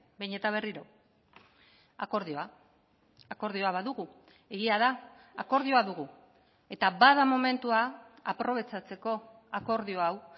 behin eta berriro akordioa akordioa badugu egia da akordioa dugu eta bada momentua aprobetxatzeko akordio hau